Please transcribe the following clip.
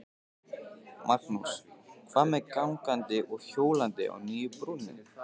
Magnús: Hvað með gangandi og hjólandi á nýju brúnni?